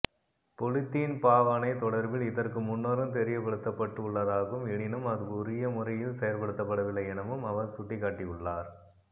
polythene பாவனை தொடர்பில் இதற்கு முன்னரும் தெரியப்படுத்தப்பட்டுள்ளதாகவும் எனினும் அது உரிய முறையில் செயற்படுத்தப்படவில்லை எனவும் அவர் சுட்டிக்காட்டியுள்ளார்